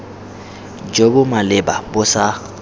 jo bo maleba bo sa